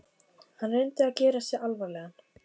Hann reyndi að gera sig alvarlegan.